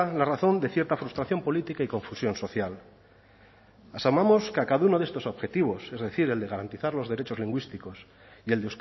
la razón de cierta frustración política y confusión social asumamos que a cada uno de estos objetivos es decir el de garantizar los derechos lingüísticos y el